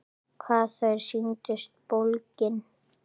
Hvað þau sýndust bólgin!